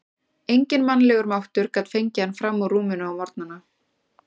Enginn mannlegur máttur gat fengið hann fram úr rúminu á morgnana.